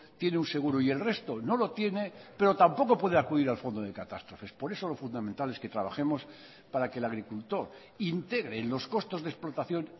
tiene un seguro y el resto no lo tiene pero tampoco puede acudir al fondo de catástrofes por eso lo fundamental es que trabajemos para que el agricultor integre en los costos de explotación